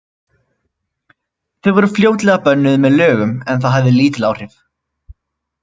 Þau voru fljótlega bönnuð með lögum, en það hafði lítil áhrif.